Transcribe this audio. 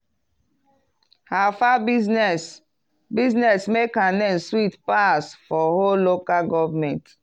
her fowl business business make her name sweet pass for whole local government.